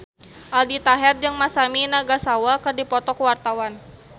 Aldi Taher jeung Masami Nagasawa keur dipoto ku wartawan